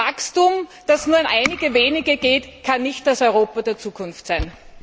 Ein Wachstum, das nur an einige Wenige geht, kann nicht das Europa der Zukunft sein.